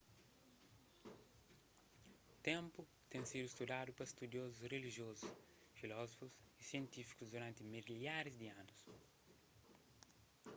ténpu ten sidu studadu pa studiozus rilijozus filozófus y sientífikus duranti milharis di anus